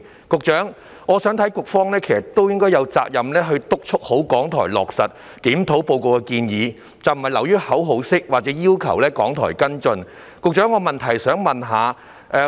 局長，我認為局方有責任督促港台落實《檢討報告》的建議，不能流於口號式地要求港台作出跟進。